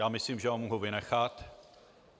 Já myslím, že ho mohu vynechat.